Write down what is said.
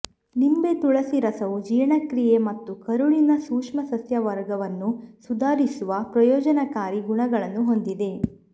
ನಿಂಬೆ ತುಳಸಿ ರಸವು ಜೀರ್ಣಕ್ರಿಯೆ ಮತ್ತು ಕರುಳಿನ ಸೂಕ್ಷ್ಮಸಸ್ಯವರ್ಗವನ್ನು ಸುಧಾರಿಸುವ ಪ್ರಯೋಜನಕಾರಿ ಗುಣಗಳನ್ನು ಹೊಂದಿದೆ